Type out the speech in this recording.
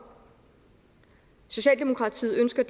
socialdemokratiet ønsker